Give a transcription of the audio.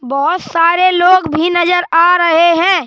बहोत सारे लोग भी नजर आ रहे हैं।